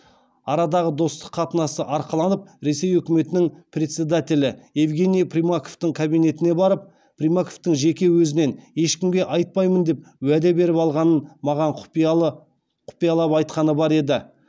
арадағы достық қатынасты арқаланып ресей үкіметінің председателі евгений примаковтың кабинетіне барып примаковтың жеке өзінен ешкімге айтпаймын деп уәде беріп алғанын маған құпиялап айтқаны бар еді